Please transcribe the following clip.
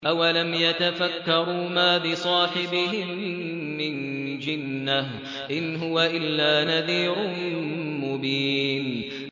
أَوَلَمْ يَتَفَكَّرُوا ۗ مَا بِصَاحِبِهِم مِّن جِنَّةٍ ۚ إِنْ هُوَ إِلَّا نَذِيرٌ مُّبِينٌ